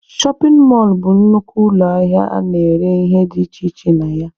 Shọpin mọlụ bụ nnukwu ụlọ ahịa a na-ere ihe dị iche iche na ya.